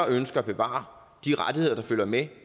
ønsker at bevare de rettigheder der følger med